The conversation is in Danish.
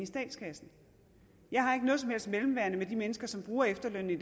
statskassen jeg har ikke noget som helst mellemværende med de mennesker som bruger efterlønnen i